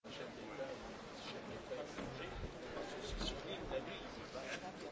Mr Vice President,